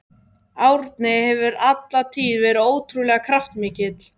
Árni hefur alla tíð verið ótrúlega kraftmikill.